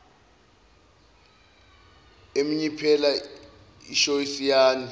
emnyiphela ishoysi yani